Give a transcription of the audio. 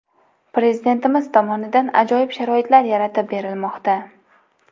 Prezidentimiz tomonidan ajoyib sharoitlar yaratib berilmoqda.